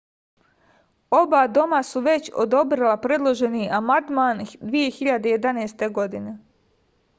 oba doma su već odobrila predloženi amandman 2011. godine